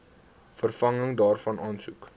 vervanging daarvan aansoek